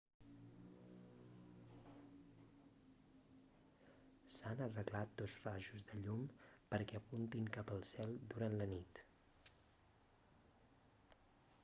s'han arreglat dos rajos de llum perquè apuntin cap al cel durant la nit